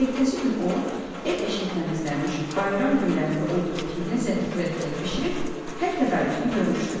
Ertəsi gün o ev-eşiyi təmizləmiş, bayram günlərində olduğu kimi ləzzətli xörəklər bişirib hər tədarükünü görmüşdü.